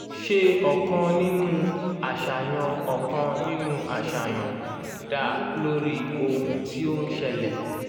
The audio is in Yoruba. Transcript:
ṣe ọkàn nínú àṣàyàn ọkàn nínú àṣàyàn dá lórí ohun tí ó ń ṣẹlẹ̀.